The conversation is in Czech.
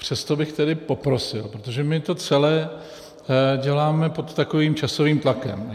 Přesto bych tedy poprosil, protože my to celé děláme pod takovým časovým tlakem.